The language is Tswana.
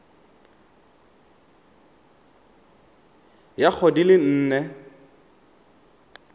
ya go di le nne